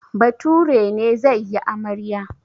Bature ne zai yi amarya.